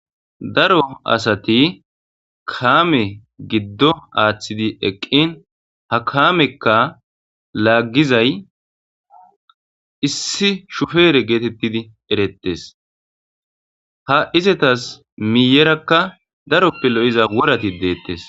Daro asati kaame giddo aaththidi eqqin ha kaamekka laaggizay issi shufeere geetettidi erettes ha izatas miyerakka daroppe lo7iza worati deettes.